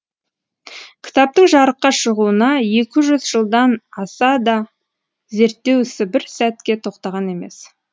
кітаптың жарыққа шығуына екі жүз жылдан асса да зертеу ісі бір сәтке тоқтаған емес